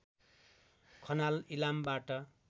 Khanal इलामबाट